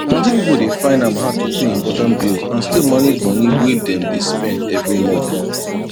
plenty people dey find am hard to pay important bills and still manage money way dem dey spend every month